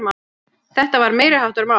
Þetta var meiriháttar mál!